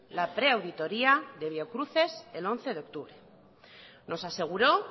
la pre auditoría de biocruces el once de octubre nos aseguró